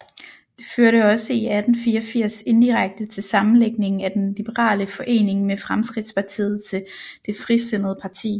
Det førte også i 1884 indirekte til sammenlægningen af den liberale forening med Fremskridtspartiet til det Frisindede parti